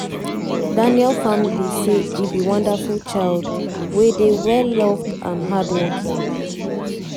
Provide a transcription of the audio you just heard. daniel family say e be wonderful child wey dey "well loved" and "hardworking".